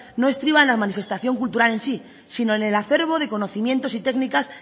no estriba en la manifestación cultural en sí sino en el acervo de conocimientos y técnicas